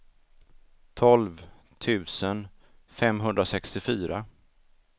tolv tusen femhundrasextiofyra